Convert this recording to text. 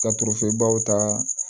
Ka turebaw ta